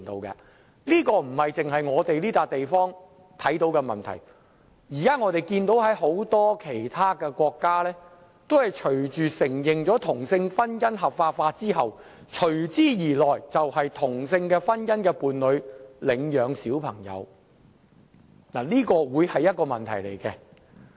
這不獨是在香港會出現的問題，我們看到很多其他國家在承認同性婚姻合法化後，隨之而來就要面對同性婚姻伴侶領養兒童的問題，這將會是一個問題。